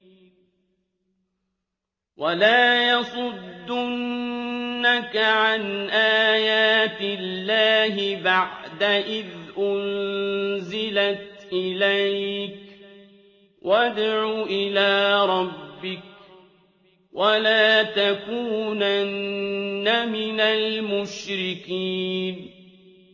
وَلَا يَصُدُّنَّكَ عَنْ آيَاتِ اللَّهِ بَعْدَ إِذْ أُنزِلَتْ إِلَيْكَ ۖ وَادْعُ إِلَىٰ رَبِّكَ ۖ وَلَا تَكُونَنَّ مِنَ الْمُشْرِكِينَ